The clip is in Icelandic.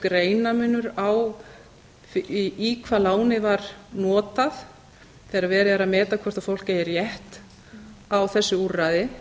greinarmunur á í hvað lánið var notað þegar verið er að meta hvort fólk eigi rétt á þessu úrræði